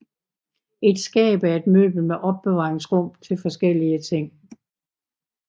Et skab er et møbel med opbevaringsrum til forskellige ting